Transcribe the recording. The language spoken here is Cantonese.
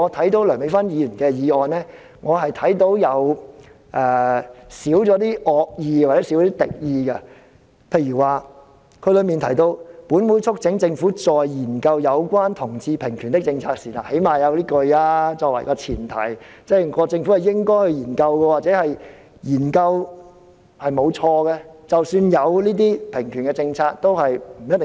至於梁美芬議員的修正案，我看到的是少了一些敵意，例如她提到"本會促請政府在研究有關同志平權的政策時"，她最低限度有這一句作為前提，即認為政府應該進行研究，研究是沒有錯的，或者有同志平權的政策也不是錯。